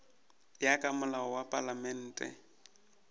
ya ka molao wa palamente